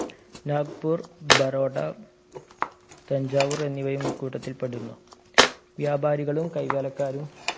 നാഗ്പൂർ ബറോട തഞ്ചാവൂർ എന്നിവയും ഈ കൂട്ടത്തിൽ പെടുന്നു വ്യാപാരികളും കൈകാലക്കാരും